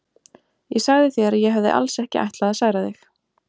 Ég sagði þér að ég hefði alls ekki ætlað að særa þig.